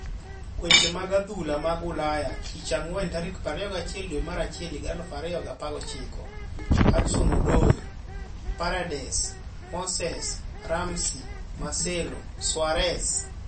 Weche mag adhula mag Ulaya tich ang'wen 24.01.2019: Hudson-Odoi, Paredes, Moses, Ramsey, Marcelo, Suarez